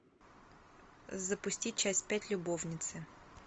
запусти часть пять любовницы